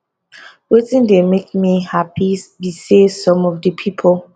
wetin dey make me happy be say some of di pipo